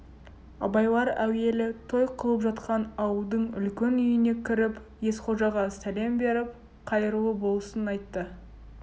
абайлар әуелі той қылып жатқан ауылдың үлкен үйіне кіріп есқожаға сәлем беріп қайырлы болсын айтты